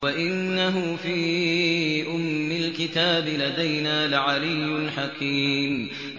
وَإِنَّهُ فِي أُمِّ الْكِتَابِ لَدَيْنَا لَعَلِيٌّ حَكِيمٌ